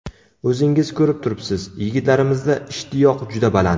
O‘zingiz ko‘rib turibsiz, yigitlarimizda ishtiyoq juda baland.